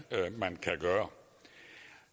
man kan gøre